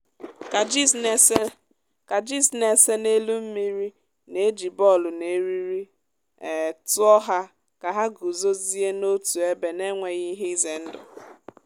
kajis na-ese kajis na-ese n’elu mmiri na-eji bọọlụ na eriri um tụọ ha ka ha guzozie n’otu ebe n’enweghị ihe ize ndụ